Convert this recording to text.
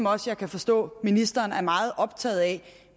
også kan forstå at ministeren er meget optaget af